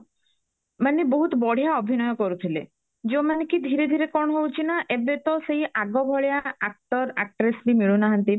ମାନେ ବହୁତ ବଢିଆ ଅଭିନୟ କରୁଥିଲେ ଯୋଉ ମାନେ କି ଧୀରେ ଧୀରେ କଣ ହଉଚି ନା ଏବେ ତ ସେଇ ଆଗ ଭଳିଆ actor actress ବି ମିଳୁନାହାନ୍ତି